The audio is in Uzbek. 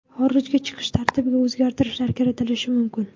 Xorijga chiqish tartibiga o‘zgartirishlar kiritilishi mumkin.